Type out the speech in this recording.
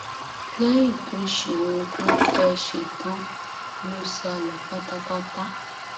lẹyìn tó ṣe ohun tó fẹẹ ṣe tán ló sá lọ pátápátá